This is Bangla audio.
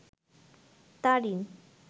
তারিন